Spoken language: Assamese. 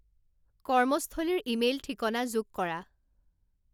কৰ্মস্থলীৰ ইমেইল ঠিকনা যোগ কৰা